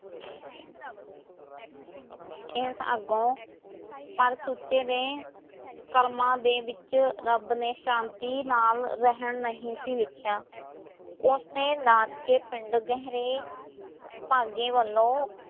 ਇਸ ਅੱਗੋਂ ਪਰ ਸੁੱਚੇ ਦੇ ਕਰਮਾਂ ਦੇ ਵਿੱਚ ਰੱਬ ਨੇ ਸ਼ਾਂਤੀ ਨਾਲ਼ ਰਹਿਣ ਨਹੀਂ ਸੀ ਲਿਖਿਆ ਓਸਨੇ ਨਾਨਕੇ ਪਿੰਡ ਗਹਿਰੇ ਭਾਗੇ ਵੱਲੋਂ